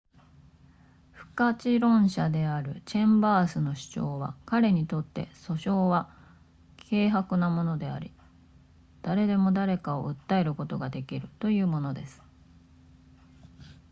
不可知論者であるチェンバースの主張は彼にとって訴訟は軽薄なものであり誰でも誰かを訴えることができるというものです